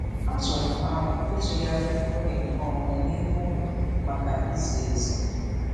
Atụụrụ m aro ịtụgharị oge nke onwe n'ime ụlọ maka izi ezi.